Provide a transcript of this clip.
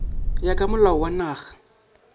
ya ka molao wa naga